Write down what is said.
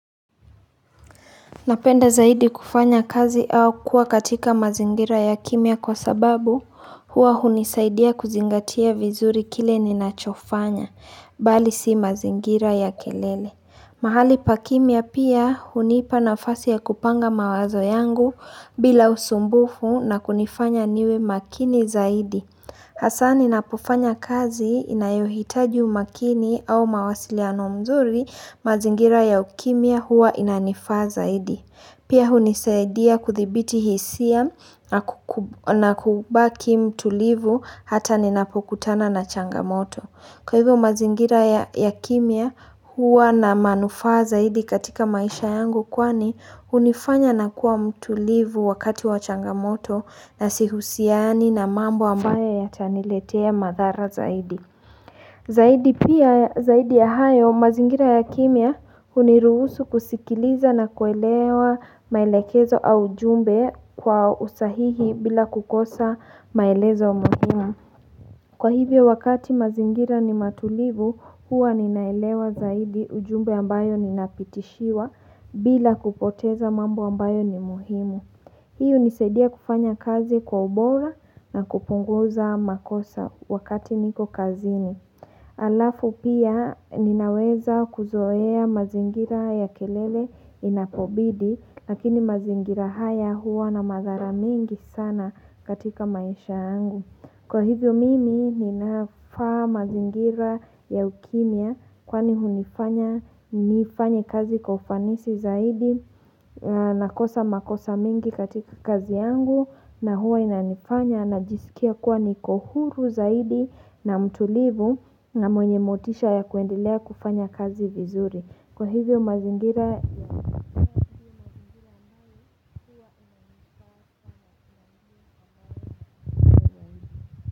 Napenda zaidi kufanya kazi au kuwa katika mazingira ya kimya kwa sababu huwa hunisaidia kuzingatia vizuri kile ninachofanya, bali si mazingira ya kelele. Mahali pa kimiya pia hunipa nafasi ya kupanga mawazo yangu bila usumbufu na kunifanya niwe makini zaidi. Hasa ninapofanya kazi inayohitaji umakini au mawasiliano mzuri, mazingira ya ukimya huwa inanifaa zaidi. Pia hunisaidia kuthibiti hisia na kubaki mtulivu hata ninapokutana na changamoto. Kwa hivyo mazingira ya kimya huwa na manufaa zaidi katika maisha yangu kwani hunifanya nakuwa mtulivu wakati wa changamoto na sihusiani na mambo ambayo yataniletea madhara zaidi. Zaidi pia zaidi ya hayo mazingira ya kimya huniruhusu kusikiliza na kuelewa maelekezo au ujumbe kwa usahihi bila kukosa maelezo muhimu. Kwa hivyo wakati mazingira ni matulivu, huwa ninaelewa zaidi ujumbe ambayo ninapitishiwa bila kupoteza mambo ambayo ni muhimu. Hii hunisaidia kufanya kazi kwa ubora na kupunguza makosa wakati niko kazini. Halafu pia ninaweza kuzoea mazingira ya kelele inapobidi, lakini mazingira haya huwa na madhara mingi sana katika maisha yangu. Kwa hivyo mimi ninafaa mazingira ya ukimya kwani hunifanya nifanye kazi kwa ufanisi zaidi, nakosa makosa mengi katika kazi yangu na huwa inanifanya najisikia kuwa niko huru zaidi na mtulivu. Na mwenye motisha ya kuendelea kufanya kazi vizuri.